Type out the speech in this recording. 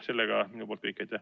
See on kõik.